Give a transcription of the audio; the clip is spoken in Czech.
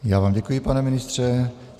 Já vám děkuji, pane ministře.